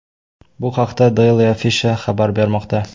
Bu haqda Daily Afisha xabar bermoqda .